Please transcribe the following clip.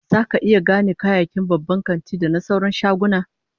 Zaka iya gane bambancin kayayyakin babban kanti da na sauran shaguna?